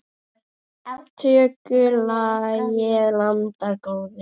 Tökum lagið, landar góðir.